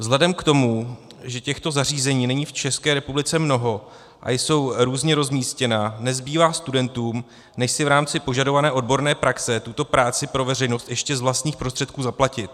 Vzhledem k tomu, že těchto zařízení není v České republice mnoho a jsou různě rozmístěna, nezbývá studentům, než si v rámci požadované odborné praxe tuto práci pro veřejnost ještě z vlastních prostředků zaplatit.